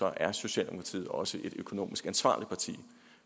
er socialdemokratiet også et økonomisk ansvarligt parti